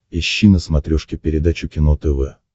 ищи на смотрешке передачу кино тв